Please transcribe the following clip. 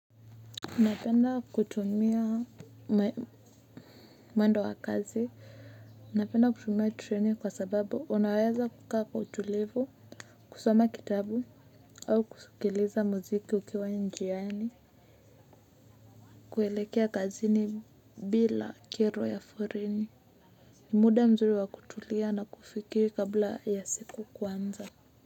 Unapenda kutumia mwendo wa kazi napenda kutumia treni kwa sababu unaweza kukaa kwa utulivu kusoma kitabu au kusikiliza muziki ukiwa njiani kuelekea kazini bila kero ya foreni ni muda mzuri wa kutulia na kufikiri kabla ya siku kuanza.